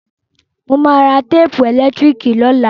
Mo ma ra téèpù ẹ̀lẹ́tíríkì lọ́la